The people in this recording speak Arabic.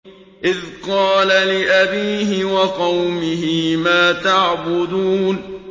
إِذْ قَالَ لِأَبِيهِ وَقَوْمِهِ مَا تَعْبُدُونَ